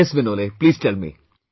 Yes, Vinole please tell me